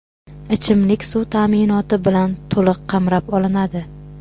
ichimlik suv ta’minoti bilan to‘liq qamrab olinadi.